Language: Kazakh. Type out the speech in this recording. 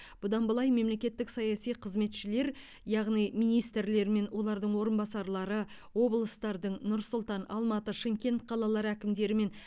бұдан былай мемлекеттік саяси қызметшілер яғни министрлер мен олардың орынбасарлары облыстардың нұр сұлтан алматы шымкент қалаларының әкімдері мен